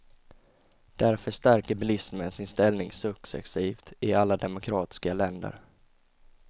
Därför stärker bilismen sin ställning successivt i alla demokratiska länder.